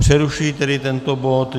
Přerušuji tedy tento bod.